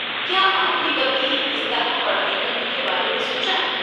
کیا آپ نے کبھی اس طرح پڑھائی کرنے کے بارے میں سوچا؟